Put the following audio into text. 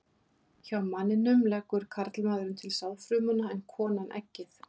Hjá manninum leggur karlmaðurinn til sáðfrumuna en konan eggið.